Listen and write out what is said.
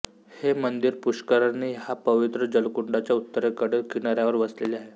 हे मंदिर पुष्करणी ह्या पवित्र जलकुंडाच्या उत्तरेकडील किनाऱ्यावर वसलेले आहे